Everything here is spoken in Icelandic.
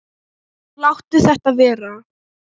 Láttu þetta vera!